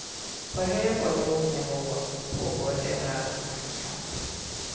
På hög och låg nivå pågår överallt en maktkamp.